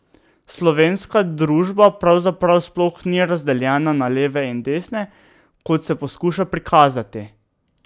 Slovenska družba pravzaprav sploh ni razdeljena na leve in desne, kot se poskuša prikazati.